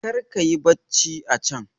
karka yi bacci a can!